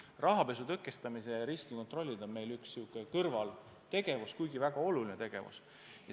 Rahapesu tõkestamise riskikontrollid on meil üks kõrvaltegevus, aga väga oluline tegevus.